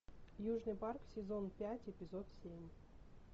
южный парк сезон пять эпизод семь